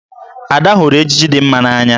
Ada hụrụ ejiji dị mma n'anya.